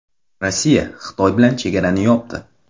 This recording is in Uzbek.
Rossiya Xitoy bilan chegarani yopdi.